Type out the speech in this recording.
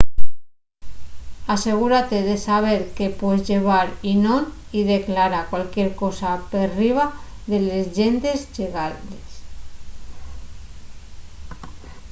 asegúrate de saber qué pues llevar y non y declara cualquier cosa perriba de les llendes llegales